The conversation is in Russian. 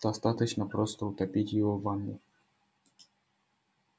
достаточно просто утопить его в ванной